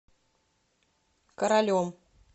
королем